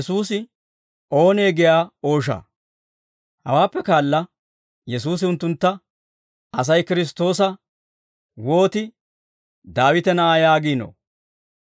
Hawaappe kaala Yesuusi unttuntta, «Asay Kiristtoosa wooti ‹Daawite na'aa› yaagiinoo?